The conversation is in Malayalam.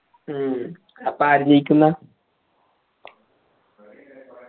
മ്മ് അപ്പൊ ആര് ജയിക്കുംന്ന